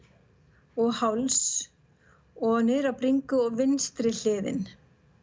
og háls og niður á bringu og vinstri hliðin